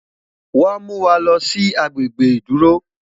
wá Muwá loosi agbegbe iduro